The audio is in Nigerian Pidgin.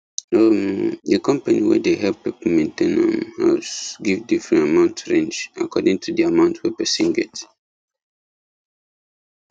um the company wey dey help people maintain um house give different amount range according to the amount wey person get